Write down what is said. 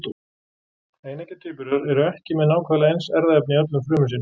Eineggja tvíburar eru ekki með nákvæmlega eins erfðaefni í öllum frumum sínum.